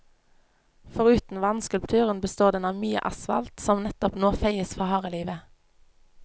Foruten vannskulpturen består den av mye asfalt, som nettopp nå feies for harde livet.